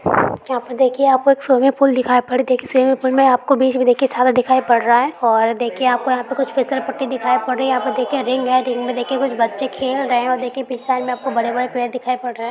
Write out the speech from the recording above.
यहाँ पे देखिये यहाँ पे एक स्विमिंग पूल दिखाई पड़ स्विमिंग पूल में आपको बीच में देखिये एक छाता दिखाई पड़ रहा है और देखिये आपको दिखाई पड रही है | यहाँ पे देखिये रिंग है रिंग मे देखिये कुछ बच्चे खेल रहे है और देखिये पीछे साइड में आपको बडे बड़े पेड़ दिखाई पड़ रहे हैं।